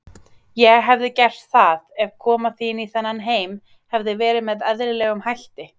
Ég hefði gert það, ef koma þín í þennan heim hefði verið með eðlilegum hætti.